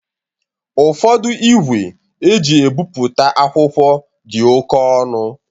Ụfodu igwe e ji ebipụta akwụkwọ di ọke ọnu